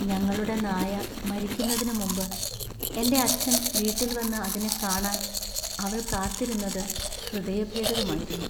ഞങ്ങളുടെ നായ മരിക്കുന്നതിന് മുമ്പ് എന്‍റെ അച്ഛൻ വീട്ടിൽ വന്ന് അതിനെ കാണാന്‍ അവൾ കാത്തിരുന്നത് ഹൃദയഭേദകമായിരുന്നു.